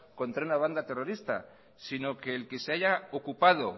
contra una banda terrorista sino que el que se haya ocupado